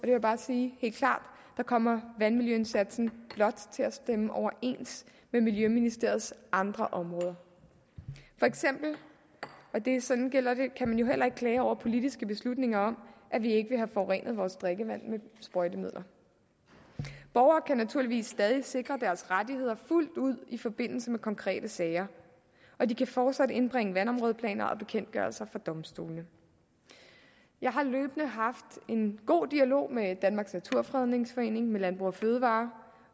jeg bare sige helt klart kommer vandmiljøindsatsen blot til at stemme overens med miljøministeriets andre områder for eksempel kan man jo heller ikke klage over politiske beslutninger om at vi ikke vil have forurenet vores drikkevand med sprøjtemidler borgere kan naturligvis stadig væk sikre deres rettigheder fuldt ud i forbindelse med konkrete sager og de kan fortsat indbringe vandområdeplaner og bekendtgørelser for domstolene jeg har løbende haft en god dialog med danmarks naturfredningsforening med landbrug fødevarer